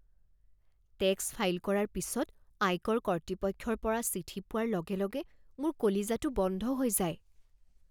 Tax file কৰাৰ পিছত আয়কৰ কৰ্তৃপক্ষৰ পৰা চিঠি পোৱাৰ লগে লগে মোৰ কলিজাটো বন্ধ হৈ যায়।